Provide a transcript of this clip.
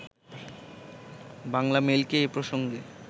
বাংলামেইলকে এ প্রসঙ্গে